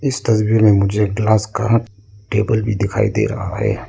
इस तस्वीर मे मुझे ग्लास का टेबल भी दिखाई दे रहा है।